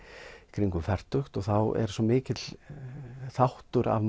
kringum fertugt og þá er svo mikill þáttur af